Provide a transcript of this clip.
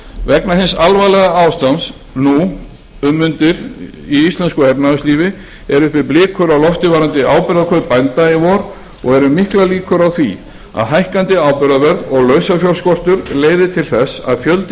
vegna hins alvarlega ástands nú um mundir í íslensku efnahagslífi eru uppi blikur á lofti varðandi áburðarkaup bænda í vor og eru miklar líkur á því að hækkandi áburðarverð og lausafjárskortur leiði til þess að fjöldi